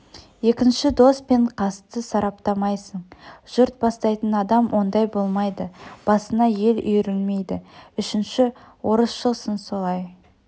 екінші дос пен қасты сараптамайсың жұрт бастайтын адам ондай болмайды басына ел үйрілмейді үшінші орысшылсың солай